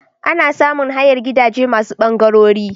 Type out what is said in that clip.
Ana samun hayar gidaje masu bangarori.